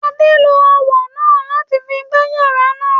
Adé lo ọwọ náà láti fi gbá iyàrá náà